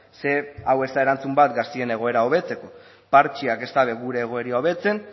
ze hau ez da erantzun bat gazteen egoera hobetzeko partxeak ez dute gure egoera hobetzen